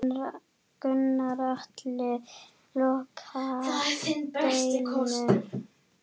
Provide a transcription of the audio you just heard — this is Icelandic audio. Gunnar Atli: Loka deildum?